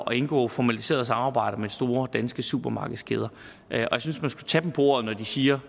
indgå formaliseret samarbejde med store danske supermarkedskæder og jeg synes man skulle tage dem på ordet når de siger